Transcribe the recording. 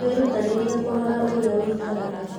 Wĩrutanĩrie kũrora ũrĩa ũikaraga.